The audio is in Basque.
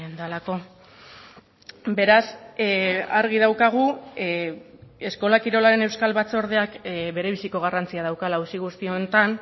delako beraz argi daukagu eskola kirolaren euskal batzordeak berebiziko garrantzia daukala auzi guzti honetan